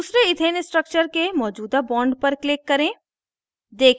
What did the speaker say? दूसरे ethane structure के मौजूदा bond पर click करें